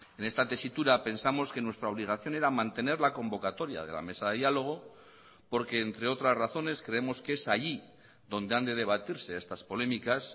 en esta tesitura pensamos que nuestra obligación era mantener la convocatoria de la mesa de diálogo porque entre otras razones creemos que es allí donde han de debatirse estas polémicas